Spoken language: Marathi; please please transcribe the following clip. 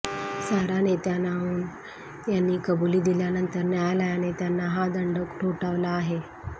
सारा नेतान्याहू यांनी कबुली दिल्यानंतर न्यायालयाने त्यांना हा दंड ठोठावला आहे